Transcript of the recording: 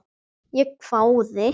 Ég hváði.